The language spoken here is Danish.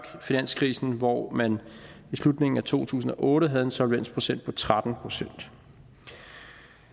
finanskrisen hvor man i slutningen af to tusind og otte havde en solvensprocent på tretten procent